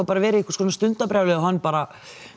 verið eitthvað stundarbjálæði og hann bara